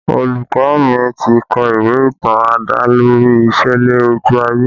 Olùkọ́ mi ti kọ ìwé ìtàn adalori ìṣẹ̀lẹ̀ ojú ayé